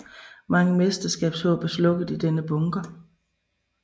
Mange mesterskabshåb er slukket i denne bunker